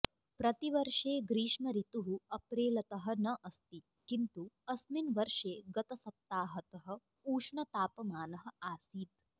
प्रतिवर्षे ग्रीष्मऋतुः अप्रेलतः न अस्ति किन्तु अस्मिन् वर्षे गतसप्ताहतः ऊष्णतापमानः आसित्